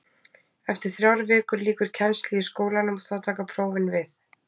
Eftir þrjár vikur lýkur kennslu í skólanum og þá taka prófin við.